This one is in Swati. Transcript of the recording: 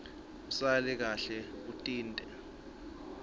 usale kahle utinte